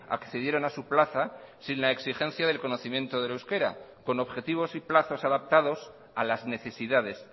accedieron a su plaza sin la exigencia del conocimiento del euskera con objetivos y plazos adaptados a las necesidades